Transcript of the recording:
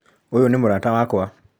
ũyũ nĩ mũrata wakwa.